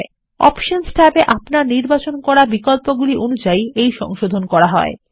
এই সংশোধণ অপশনস ট্যাবে আপনার নির্বাচন করাবিকল্পগুলিঅনুযায়ী করা হয়